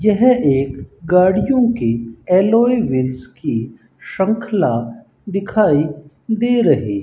यह एक गाड़ियों की एलॉय व्हील्स की श्रृंखला दिखाई दे रही --